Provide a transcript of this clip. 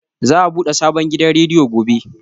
Za a buɗe sabon gidan rediyo gobe.